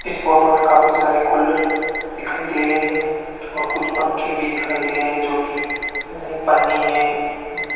इस फोटो में काफी सारे कूलर दिखाई दे रहे हैं और कुछ पंखे भी दिखाई दे रहे हैं जो कि पन्नी में --